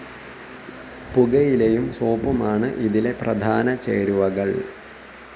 പുകയിലയും സോപ്പുമാണ് ഇതിലെ പ്രധാന ചേരുവകൾ.